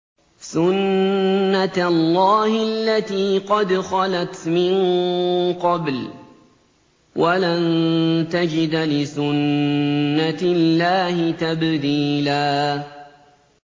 سُنَّةَ اللَّهِ الَّتِي قَدْ خَلَتْ مِن قَبْلُ ۖ وَلَن تَجِدَ لِسُنَّةِ اللَّهِ تَبْدِيلًا